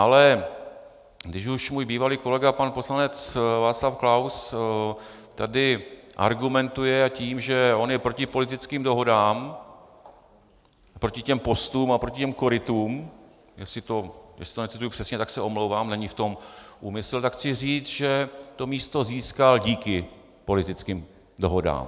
Ale když už můj bývalý kolega, pan poslanec Václav Klaus, tady argumentuje tím, že on je proti politických dohodám, proti těm postům a proti těm korytům - jestli to necituji přesně, tak se omlouvám, není v tom úmysl -, tak chci říct, že to místo získal díky politickým dohodám.